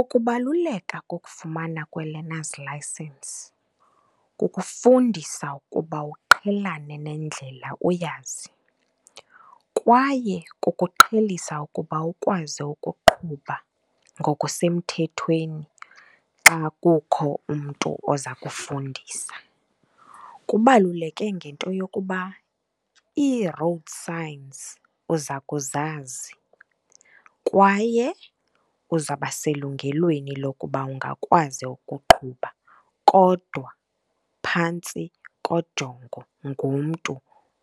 Ukubaluleka kokufumana kwe-learners licence kukufundisa ukuba uqhelanise nendlela uyazi kwaye kukuqhelisa ukuba ukwazi ukuqhuba ngokusemthethweni xa kukho umntu oza kufundisa. Kubaluleke ngento yokuba ii-road signs uza kuzazi kwaye uzawubaselungelweni lokuba ungakwazi ukuqhuba, kodwa phantsi kojongo ngumntu